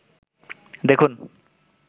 দেখুন